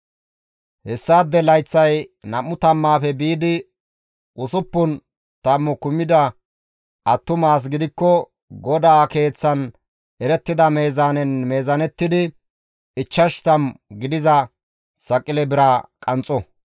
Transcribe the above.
hessaade layththay nam7u tammaafe biidi usuppun tammu kumida attuma as gidikko GODAA Keeththan erettida meezaanen meezaanettidi ichchash tammu gidiza saqile bira qanxxo.